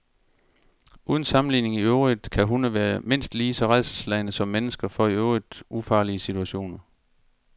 Uden sammenligning i øvrigt kan hunde være mindst lige så rædselsslagne som mennesker for i øvrigt ufarlige situationer.